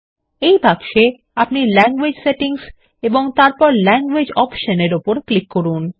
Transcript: এই বাক্সে আপনি ল্যাঙ্গুয়েজ সেটিংস এবং তারপর ল্যাংগুয়েজেস অপশন -এর ওপর ক্লিক করুন